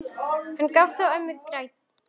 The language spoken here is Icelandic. Hann gaf þó ömmu gætur.